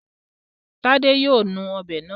Tádé yóò nu ọ̀bẹ náà.